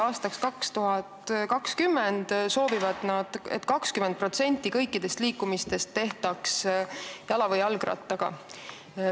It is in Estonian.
Nad soovivad, et aastaks 2020 tehtaks 20% kõikidest liikumistest jala või jalgrattaga.